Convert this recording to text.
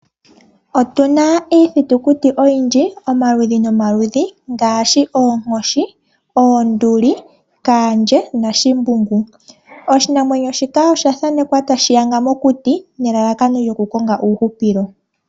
Otuna iiyamakuti oyindji omaludhi nomaludhi. Ngaashi oonkoshi, oonduli, kaandje nashimbugu. Oshinamwenyo shika osha thanekwa tashi yaga mokuti nelalakano lyoku konga uuhupilo.